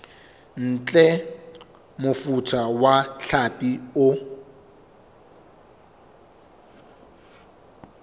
ntle mofuta wa hlapi o